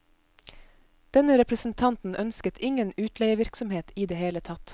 Denne representanten ønsket ingen utleievirksomhet i det hele tatt.